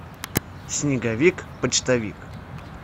снеговик почтовик